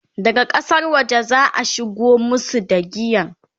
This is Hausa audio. daga ƙasar waje zaa shigo masu da giyan